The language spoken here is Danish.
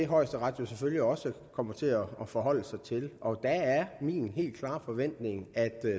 højesteret selvfølgelig også kommer til at forholde sig til og der er min helt klare forventning at